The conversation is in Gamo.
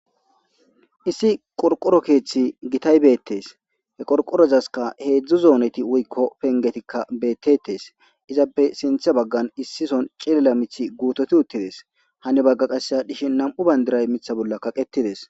Issi qorqoro keeththi gitay beettes he qorqorozaska heedzdzu zooneti wuykko pengetikka beettetes izappe sintha baggan issison cilela mithi guutoti uttides hani bagga qasseya dhishi nam'u bandiray mitha bolla kaqetides.